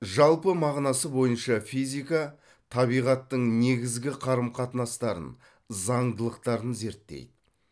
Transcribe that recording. жалпы мағынасы бойынша физика табиғаттың негізгі қарым қатынастарын заңдылықтарын зерттейді